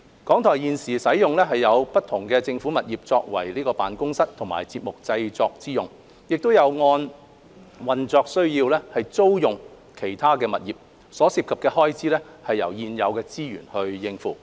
港台現時使用不同的政府物業作為辦公室及節目製作用途，亦有按運作需要租用其他物業，所涉的開支由現有資源應付。